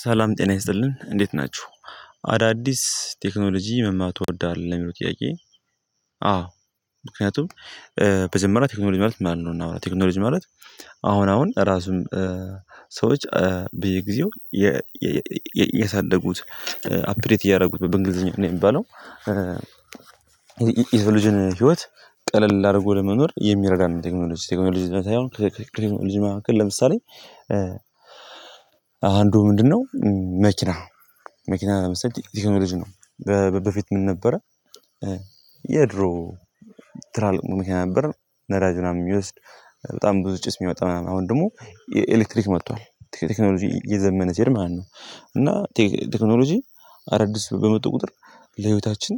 ሰላም ጤና ይስጥልን እንዴት ናችሁ? አዳዲስ ቴክኖሎጂ መማር ትወዳለህ የሚለው ጥያቄ አዎ። ምክንያቱም በመጀመሪያ ቴክኖሎጂ ማለት ማለት ነው እና ቴክኖሎጂ ማለት አሁን አሁን ራሱን ሰዎች ብየ ጊዜው ያሳደጉት አፕዴት እያደረጉት በእንግሊዝኛ ነው የሚባለው። የሰው ልጅ ህይወት ቀለል አድርጎ ለመኖር የሚረዳ ነው ቴክኖሎጂ ከቴክኖሎጂ መካከል ለምሳሌ አንዱ ምንድነው መኪና መኪና ለምሳሌ ቴክኖሎጂ ነው። በፊት ምን ነበረ የድሮ ትላልቅ መኪና ለዳጅ ምናምን የሚወስድ በጣም ብዙ ጭስ የሚወጣ ምናምን አሁን ደግሞ የኤሌክትሪክ መጥቷል ቴክኖሎጂ የዘመነ ማለት ነው። እና ቴክኖሎጂ አዳዲስ በመጡ ቁጥር ለህይወታችን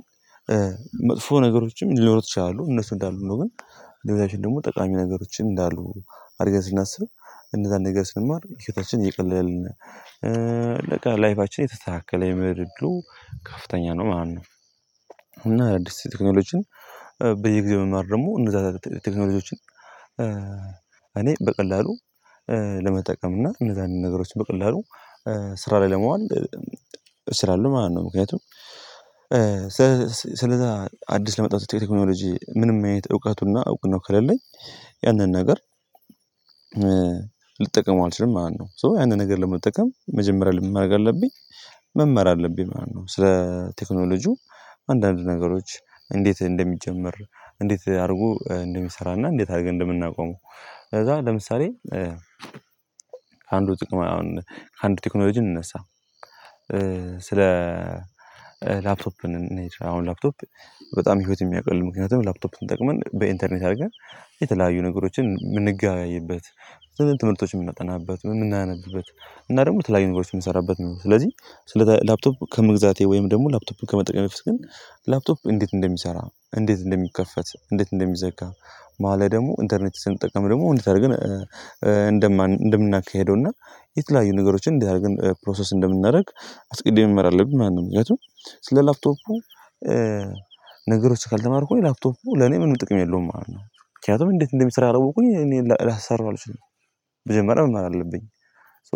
መጥፎ ነገሮችም ሊኖሩ ይችላሉ እነሱ እንዳሉ ነው ግን ለምሳሌ ደግሞ ጠቃሚ ነገሮችን እንዳሉ አድርገን ስናስብ እንደዛ ነገር ስንማር ህይወታችንን እቀለለልን ነው ላይፋችን የተስተካካለ የመሆን እድሉ ከፍተኛ ነው ማለት ነው። እና አዲስ ቴክኖሎጂን በየጊዜው መማር ደግሞ እነዛን ቴክኖሎጂዎችን እኔ በቀላሉ ለመጠቀም እና እነዛን ነገሮች በቀላሉ ስራ ላይ ለመዋል ስራ አሉ ማለት ነው። ምክንያቱም ስለዛ አዲስ ለመጣው ቴክኖሎጂ ምንም አይነት እውቀቱና እውቅናው ከሌለኝ ያንን ነገር ልጠቀመው አልችልም። ማነው ሶ ያንን ነገር ለመጠቀም መጀመሪያ ምንማድረግ አለብኝ? መማር አለብኝ ማለት ነው። ስለ ቴክኖሎጂው አንዳንድ ነገሮች እንዴት እንደሚጀመር እንዴት አድርጎ እንደሚሰራና እንዴት አድርገን እንደምናቆመው ከዛ ለምሳሌ ከአንዱ ጥቅም አሁን ከአንዱ ቴክኖሎጂ እንነሳ። ስለ ላፕቶፕ እንሂድ አሁን ላፕቶፕ በጣም ህይወት የሚያውቅልን ምክንያቱም ላፕቶፕን ተጠቅመን በኢንተርኔት አድርገን የተለያዩ ነገሮችን የምንገበያይበት ዝለዚህ ትምህርቶችን የምናጠናበት የምናነብበት እና ደግሞ የተለያዩ ነገሮችን የምሰራበት ነው። ስለዚህ ስለ ላፕቶፕ ከመግዛቴ ወይም ደግሞ ላፕቶፕን ከመጠቀሜ በፊት ግን ላፕቶፕ እንዴት እንደሚሰራ እንዴት እንደሚከፈት እንዴት እንደሚዘጋ መሃል ላይ ደግሞ ኢንተርኔት ስንጠቀም ደግሞ እንዴት አድርገን እንደምናካህደውና የተለያዩ ነገሮችን እንዴት አድርገን ፕሮሰስ እንደምናደርግ አስቅድሜ መማር አለብኝ ማለት ነው። ምክንያቱም ስለ ላፕቶፑ ነገር ካልተማርኩኝ ላፕቶፉ ለኔ ምንም ጥቅም የለውም። ማለት ነው ምክንያቱም እንዴት እንደምሰራ ካላወኩኝ እኔ ላሰራው አልችልም። መጀመሪያ መማር አለብኝ ሶ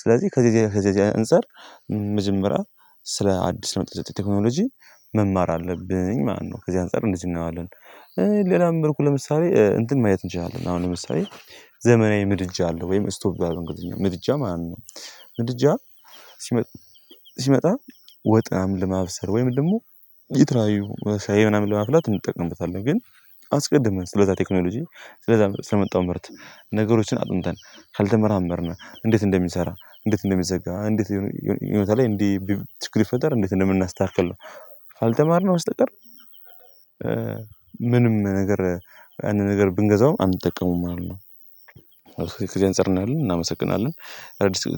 ስለዚህ ከዚህ ከዚህ እንፀር መጀመሪያ ስለ አዲስ ለመጠው ቴክኖሎጂ መማር አለብኝ ማለት ነው። ከዚህ አንፃር እንደዚህ እናየዋለን ሌላ መልኩ ለምሳሌ እንትን ማየት እንችላለን አሁን ለምሳሌ ዘመናዊ ምድጃ አለው ወይም ስቶቭ ጋዝ እንግዲህ ምድጃ ማለት ነው። ምድጃ ሲመጣ ወጥ ለማፍሰል ወይም ደግሞ የተለያዩ ሻይ ምናምን ለማፍላት እንጠቀምበታለን ግን አስቀድመን ስለዛ ቴክኖሎጂ ስለዛ ስለመጣው ምርት ነገሮችን አጥንተን ካልተመራመርን እንዴት እንደሚሰራ እንዴት እንደሚዘጋ እንዴት የሆነ ቦታ ላይ ችግር ቢፈጠር እንዴት እንደምናስተካክል ነው። ካልተማርነው በስተቀር ምንም ነገር ያንን ነገር ብንገዛው አንጠቀመውም ማለት ነው። ከዚህ እንፃር እናያለን እናመሰግናለን።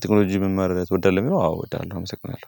ቴክኖሎጂ መማር ትወዳለህ የሚለው? አዎ እወዳለሁ አመሰግናለሁ